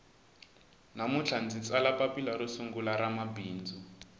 namuntlha ndzi tsala papila ro sungula ra mabindzu